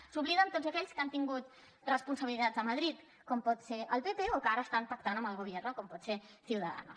se n’obliden tots aquells que han tingut responsabilitats a madrid com pot ser el pp o que ara estan pactant amb el gobierno com pot ser ciudadanos